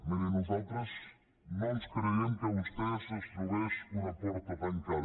miri nosaltres no ens creiem que vostè es trobés una porta tancada